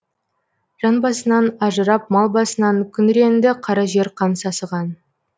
жан басынан ажырап мал басынан күңіренді қара жер қан сасыған